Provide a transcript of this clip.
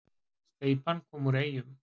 Steypan kom úr Eyjum